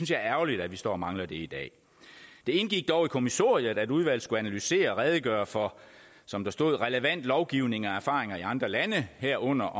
det er ærgerligt at vi står og mangler det i dag det indgik dog i kommissoriet at udvalget skulle analysere og redegøre for som der stod relevant lovgivning og erfaringer i andre lande herunder